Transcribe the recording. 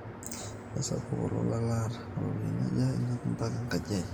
keisapuk olola laata, ropiyani aja inapie mpaka enkaji aai